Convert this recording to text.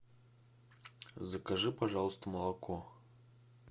закажи пожалуйста молоко